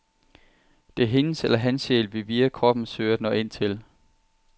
Det er hendes eller hans sjæl, vi via kroppen søger at nå ind til.